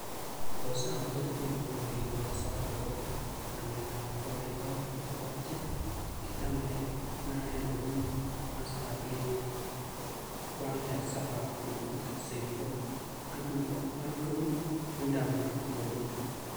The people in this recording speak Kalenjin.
Ko sam kortini kole kekoch zawadi akopo namet ap korik aeng chepo che kichamekei , ne aenge komi mastap Leafy Oakdale suburb nebo St Paul , ang nebo aeng komi Windermere, Florida.